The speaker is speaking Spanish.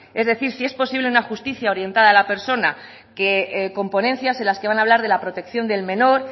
es decir si es posible una justicia orientada a la persona que con ponencias en las que van a hablar de la protección del menor